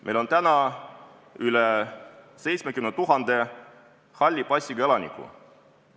Meil on üle 70 000 halli passiga elaniku.